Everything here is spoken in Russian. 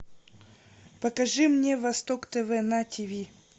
покажи мне восток тв на ти ви